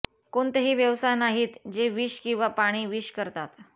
कोणतेही व्यवसाय नाहीत जे विष किंवा पाणी विष करतात